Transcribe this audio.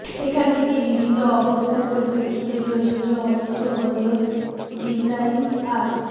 এখান থেকে বিভিন্ন অবস্থার পরিপ্রেক্ষিতে প্রয়োজনীয় অংশ হজরত জিবরাইল আ